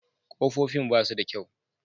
Kofofin ba su da kyau.